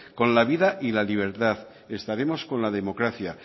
con la vida y la libertad estaremos con la democracia